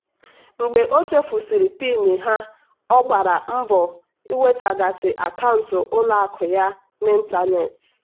"mgbe o chefurusiri pin ha ọ gbara mbọ nwetaghachi akaụntụ ụlọ akụ ya n'ịntanetị."